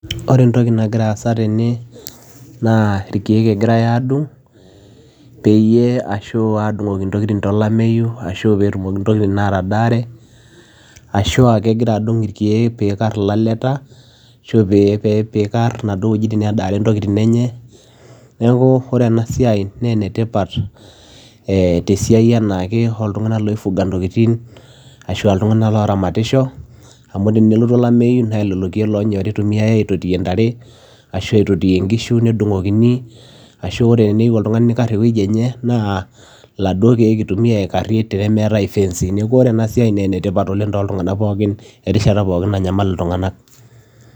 ore entoki nagira aasa tene naa irkeek egirai aadung peyie, ashuu adung; oki ntokitin to lameyu ashuu peetumoki ntokitin atadaare, ashuu aa kegira adung irkeek peikar ilaleta, ashuu pee peikar naduo wuejitin nedaare ntokitin enye. neeku ore ena siai naa enetipat eeh tesiai e anaake oltung'anak loifuga ntokitin ashua iltung'anak oramatisho amu tenelotu olameyu naa lelo keek lonyori eitumiyae aititiyie ntare, ashua aitotiyie nkishu nedung'okini ashu ore teneyieu oltung'ani neikar ewueji enye naa laduo keek eitumiya aikarie tenemeetae ifeensi, neeku ore ena siai naa enetipat oleng toltung'anak pookin erishata pookin nanyamal iltung'anak